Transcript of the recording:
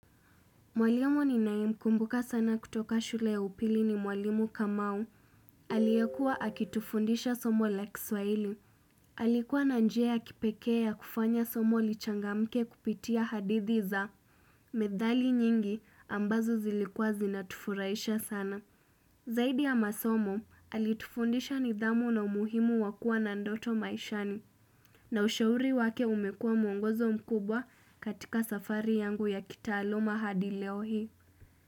Mwalimu ninaye mkumbuka sana kutoka shule ya upili ni mwalimu kamao. Aliyekuwa akitufundisha somo la kiswahili. Alikuwa na njia ya kipekee ya kufanya somo lichangamke kupitia hadithi za methali nyingi ambazo zilikuwa zinatufurahisha sana. Zaidi ya masomo, alitufundisha nidhamu na umuhimu wa kuwa na ndoto maishani na ushauri wake umekua mwongozo mkubwa katika safari yangu ya kitaaluma hadi leo hii.